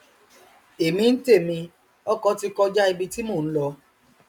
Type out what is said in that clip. èmi ntèmi ọkọ ti kọja ibi tí mò nlọ